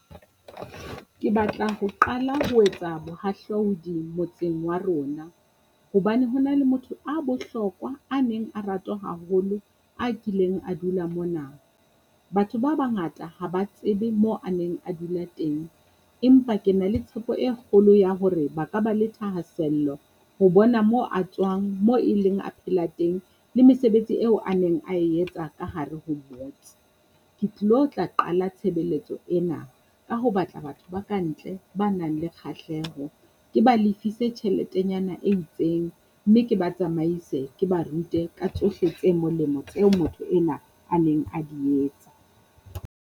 Ke batla ho qala ho etsa bohahlaudi motseng wa rona, hobane ho na le motho a bohlokwa a neng a ratwa haholo, a kileng a dula mona. Batho ba bangata ha ba tsebe mo a neng a dula teng, empa ke na le tshepo e kgolo ya hore ba ka ba le thahasello ho bona mo a tswang mo e leng a phela teng, le mesebetsi eo a neng a etsa ka hare ho motse. Ke tlilo tla qala tshebeletso ena ka ho batla batho ba ka ntle, ba nang le kgahleho, ke ba lefise tjheletenyana e itseng, mme ke ba tsamaise ke ba rute ka tsohle tse molemo tseo motho ena a neng a di etsa.